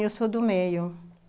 eu sou do meio.